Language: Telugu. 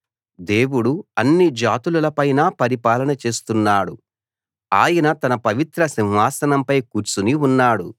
దేవుడు అన్ని జాతులల పైనా పరిపాలన చేస్తున్నాడు ఆయన తన పవిత్ర సింహాసనంపై కూర్చుని ఉన్నాడు